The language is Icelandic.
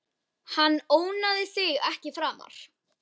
Hann ónáðar þig ekki framar.